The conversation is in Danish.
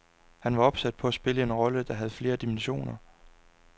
Han var opsat på at spille en rolle, der havde flere dimensioner.